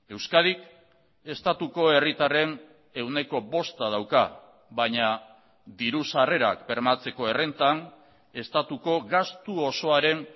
euskadik estatuko herritarren ehuneko bosta dauka baina dirusarrerak bermatzeko errentan estatuko gastu osoaren